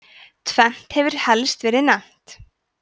tvennt hefur helst verið nefnt